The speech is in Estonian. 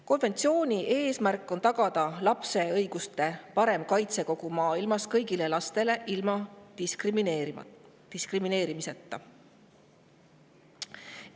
Konventsiooni eesmärk on tagada lapse õiguste parem kaitse kogu maailmas, kõigile lastele, ilma diskrimineerimiseta.